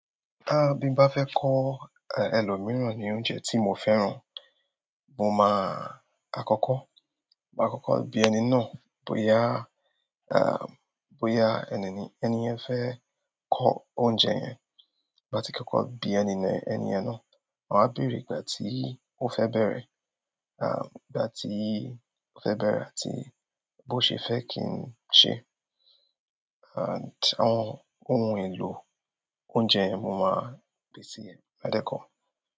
Ah, bí mo bá fẹ́ kọ́ ẹlòmíràn ní oúnjẹ tí mo fẹ́ràn, mo máa àkọ́kọ́, máa àkọ́kọ́ bí ẹni náà bóyá, ah, bóyá ẹni- ẹni yẹn fẹ́ kọ́ oúnjẹ yẹn. Ki koko bi ènìyàn na, ma bere ìgbà ti o fe bere àti bo se fe ki se and àwọn ohun èlò oúnjẹ mo máa pèsè rẹ̀ lẹ́kọ̀ọ́.